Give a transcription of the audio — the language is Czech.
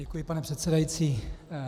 Děkuji, pane předsedající.